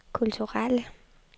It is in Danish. kulturelle